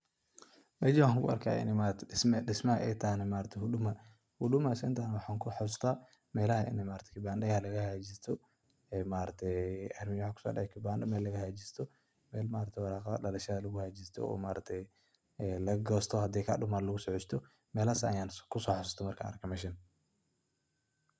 Mejaan waxan ku arkaya ini maaragte dhismo. Dhismahana ay tahay Huduma , Huduma centana waxan kahasusta melaha maragte kibandaya laga hagajisto oo mel maaragtaye warqadaha dalashada lagu gosto oo haday kaduman laga hagajisto melahas ayan kuso hasuste markan arke meshaan.